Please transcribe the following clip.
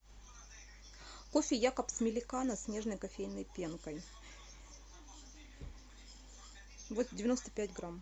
кофе якобс меликано с нежной кофейной пенкой девяносто пять грамм